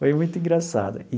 Foi muito engraçado.